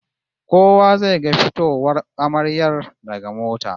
Kowa zai ga fitowar amaryar daga mota